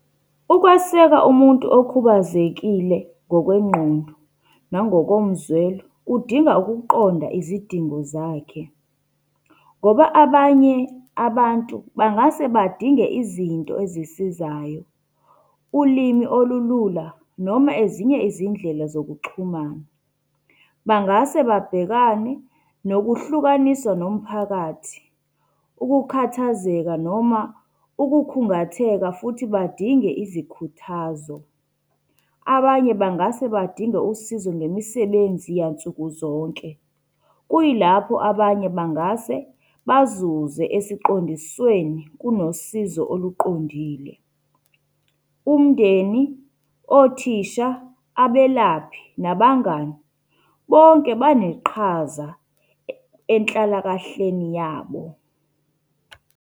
Ukweseka umuntu okhubazekile ngokwengqondo nangokomzwelo, kudinga ukuqonda izidingo zakhe. Ngoba abanye abantu bangase badinge izinto ezisizayo, ulimi olulula noma ezinye izindlela zokuxhumana. Bangase babhekane nokuhlukaniswa nomphakathi, ukukhathazeka noma ukukhungatheka futhi badinge izikhuthazo. Abanye bangase badinge usizo ngemisebenzi yansukuzonke. Kuyilapho abanye bangase bazuze esiqondisweni kunosizo oluqondile. Umndeni, othisha, abelaphi, nabangani, bonke, baneqhaza enhlalakahleni yabo.